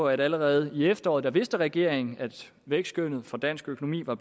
at allerede i efteråret vidste regeringen at vækstskønnet for dansk økonomi var